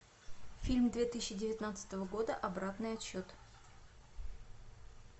фильм две тысячи девятнадцатого года обратный отсчет